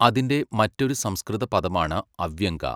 അതിന്റെ മറ്റൊരു സംസ്കൃത പദമാണ് അവ്യംഗ.